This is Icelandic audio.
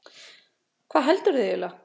Hvað heldurðu eiginlega?